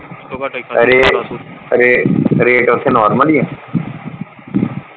ਰੇ rate ਉੱਥੇ normal ਹੀ ਆ।